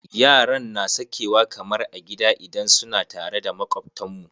Yaran na sakewa kamar a gida idan suna tare da makwabtan mu.